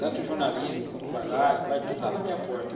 Tanto jornalismo, quando vai lá, vai tudo lá na minha porta.